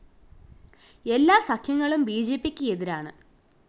എല്ലാ സഖ്യങ്ങളും ബിജെപിക്ക് എതിരാണ്